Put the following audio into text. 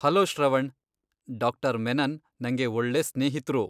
Hello, Shravan! ಡಾ.ಮೆನನ್ ನಂಗೆ ಒಳ್ಲೇ ಸ್ನೇಹಿತ್ರು.